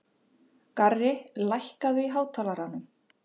Garri, lækkaðu í hátalaranum.